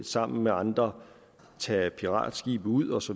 sammen med andre tager piratskibe ud osv